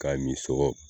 K'a min sogo